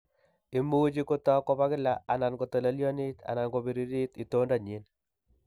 Imuche kotok kobo kila, anan kotolelyonit anan kobiririt itondo nyin